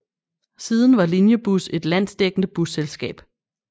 Siden var Linjebus et landsdækkende busselskab